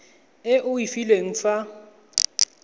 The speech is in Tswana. e o e filweng fa